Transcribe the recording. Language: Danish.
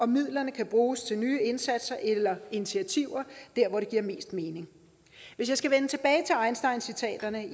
midlerne kan bruges til nye indsatser eller initiativer der hvor det giver mest mening hvis jeg skal vende tilbage til einsteincitaterne